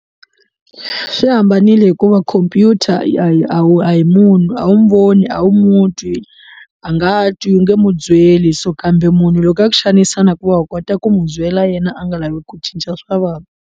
Swi hambanile hikuva khompyuta hi a wu a hi munhu a wu n'wi voni a wu mu twi a nga twi u nge mu byeli so kambe munhu loko a ku xanisa na ku va u kota ku mu byela yena a nga lavi ku cinca swa vanhu.